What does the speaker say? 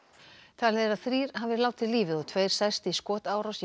talið er að þrír hafi látið lífið og tveir særst í skotárás